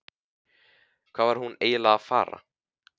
Hvað var hún eiginlega að fara?